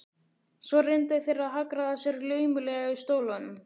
Svo reyndu þeir að hagræða sér laumulega í stólunum.